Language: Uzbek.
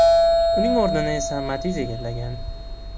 Uning o‘rnini esa Matiz egallagan.